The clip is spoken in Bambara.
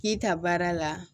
K'i ta baara la